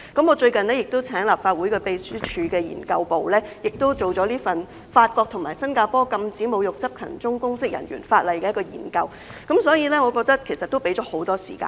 我最近亦請立法會秘書處資料研究組做了一份題為"法國和新加坡禁止侮辱執勤中公職人員的法例"的研究，所以我認為其實已經給予很多時間。